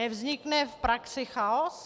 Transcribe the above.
Nevznikne v praxi chaos?